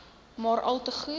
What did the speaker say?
maar alte goed